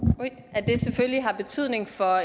at det selvfølgelig har betydning for